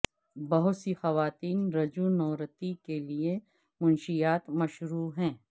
بہت سی خواتین رجونورتی کے لئے منشیات مشروع ہیں